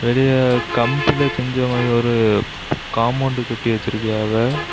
பெரிய கம்ப்ல செஞ்ச மாறி ஒரு காம்போண்டு கட்டி வச்சிருக்கியாவ.